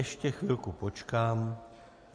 Ještě chvilku počkám.